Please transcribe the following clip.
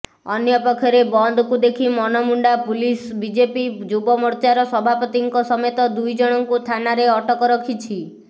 ଅନ୍ୟପକ୍ଷରେ ବନ୍ଦକୁ ଦେଖି ମନମୁଣ୍ଡା ପୁଲିସ୍ ବିଜେପି ଯୁବମୋର୍ଚ୍ଚାର ସଭାପତିଙ୍କ ସମେତ ଦୁଇ ଜଣଙ୍କୁ ଥାନାରେ ଅଟକ ରଖିଛି